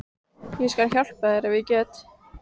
Ég skal hjálpa þér ef ég get.